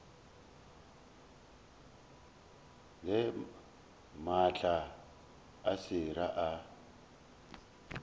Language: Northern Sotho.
there maatla a sera a